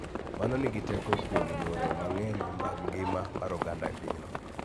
Mano nigi teko kuom yore mang�eny mag ngima mar oganda e pinyno.